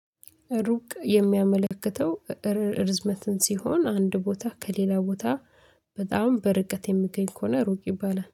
ሩቅ የሚያመለክተው። ርዝመትን ሲሆን አንድ ቦታ ከሌላ ቦታ በጣም በርቀት የምገኝ ከሆነ ሩቅ ይባላል